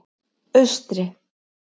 Austri